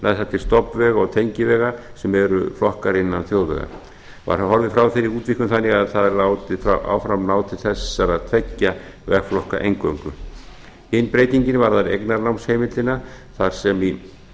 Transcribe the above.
það til stofnvega og tengivega sem eru flokkaðir innan þjóðvega var þá horfið frá þeirri útvíkkun þannig að það er áfram látið ná til þessara tveggja vegflokka eingöngu hin breytingin varðar eignarnámsheimildina þar sem í